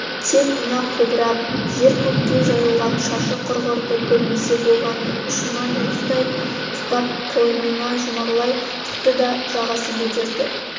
тек мына қобырап жер-көкке жайылған шашы құрғырды көрмесе болғаны ұшынан уыстай ұстап қойнына жұмарлай тықты да жағасын көтерді